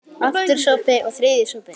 Aftur sopi, og þriðji sopi.